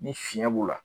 Ni fiɲɛ b'u la